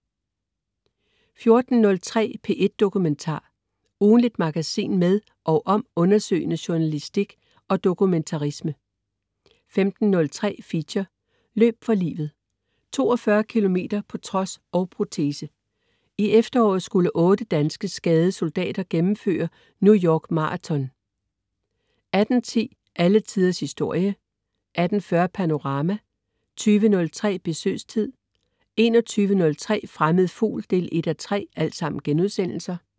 14.03 P1 Dokumentar. Ugentligt magasin med og om undersøgende journalistik og dokumentarisme 15.03 Feature: Løb for livet. 42 kilometer på trods og protese. I efteråret skulle otte danske, skadede soldater gennemføre New York Marathon 18.10 Alle Tiders Historie* 18.40 Panorama* 20.03 Besøgstid* 21.03 Fremmed Fugl 1:3*